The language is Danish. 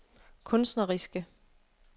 kunstneriske